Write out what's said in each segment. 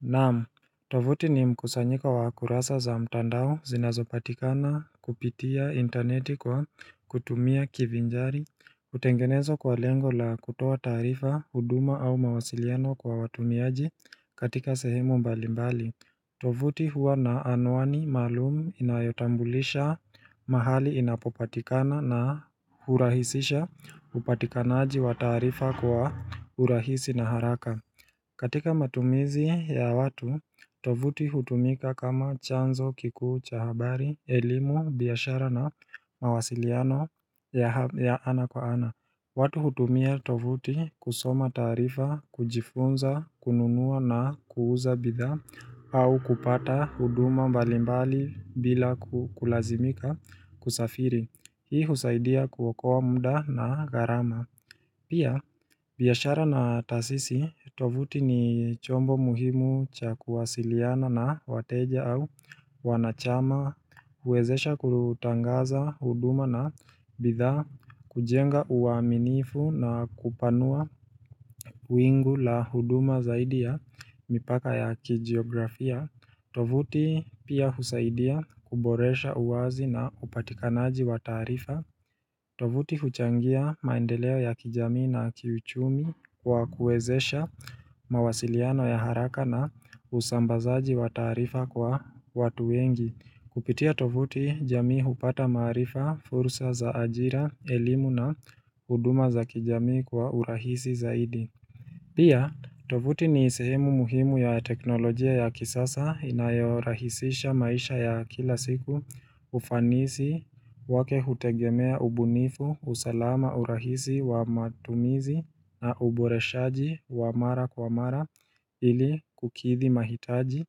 Naamu, tovuti ni mkusanyiko wa kurasa za mtandao zinazopatikana kupitia interneti kwa kutumia kivinjari hutengenezo kwa lengo la kutoa taarifa, huduma au mawasiliano kwa watumiaji katika sehemu mbali mbali tovuti huwa na anwani maalumu inayotambulisha mahali inapopatikana na hurahisisha upatikanaji wa taarifa kwa urahisi na haraka katika matumizi ya watu, tovuti hutumika kama chanzo kikucha habari, elimu, biashara na mawasiliano ya ana kwa ana. Watu hutumia tovuti kusoma taarifa, kujifunza, kununua na kuuza bidhaa, au kupata huduma mbalimbali bila kulazimika kusafiri. Hii husaidia kuwaokowa muda na gharama. Pia, biashara na tasisi, tovuti ni chombo muhimu cha kuwasiliana na wateja au wanachama, huwezesha kutangaza huduma na bidhaa, kujenga uaminifu na kupanua wingu la huduma zaidi ya mipaka ya kijiografia tovuti pia husaidia kuboresha uwazi na upatikanaji wa taarifa tovuti huchangia maendeleo ya kijamii na kiuchumi kwa kuwezesha mawasiliano ya haraka na usambazaji wa taarifa kwa watu wengi. Kupitia tovuti jamii hupata maarifa, fursa za ajira, elimu na huduma za kijamii kwa urahisi zaidi. Pia, tovuti ni sehemu muhimu ya teknolojia ya kisasa inayorahisisha maisha ya kila siku ufanisi wake hutegemea ubunifu usalama urahisi wa matumizi na uboreshaji wa mara kwa mara ili kukithi mahitaji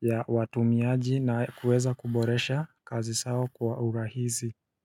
ya watumiaji na kuweza kuboresha kazi sao kwa urahisi.